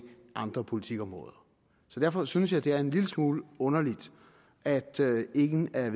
andre politikområder så derfor synes jeg det er en lille smule underligt at ingen af